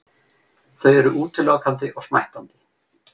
Þau eru útilokandi og smættandi.